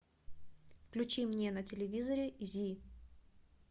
включи мне на телевизоре зи